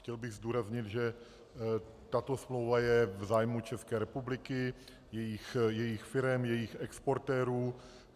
Chtěl bych zdůraznit, že tato smlouva je v zájmu České republiky, jejích firem, jejích exportérů.